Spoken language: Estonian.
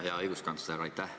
Hea õiguskantsler!